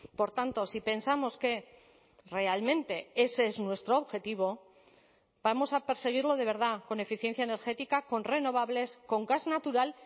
por tanto si pensamos que realmente ese es nuestro objetivo vamos a perseguirlo de verdad con eficiencia energética con renovables con gas natural